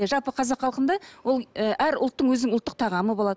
жалпы қазақ халқында ол ы әр ұлттың өзінің ұлттық тағамы болады